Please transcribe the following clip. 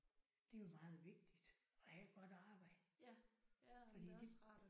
Det er jo meget vigtigt at have et godt arbejde. Fordi det